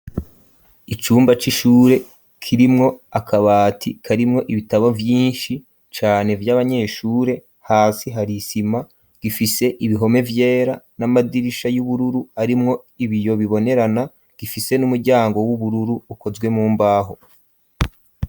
Icumba c'ishure kirimwo akabati karimwo ibitabo vyinshi cane by'abanyeshure hasi hari isima ifise ibihome vyera n'amadirisha y'ubururu arimwo ibiyo bibonerana gifise n'umuryango w'ubururu ukozwe mumbaho.